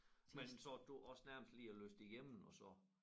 Men sad du også nærmest lige og læste det igennem og så